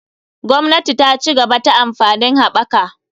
Gwamnati ta cigaba ta amfanin haɓaka.